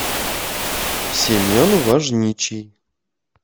семен важничий